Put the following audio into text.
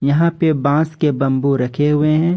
यहां पे बांस के बंबू रखे हुए हैं।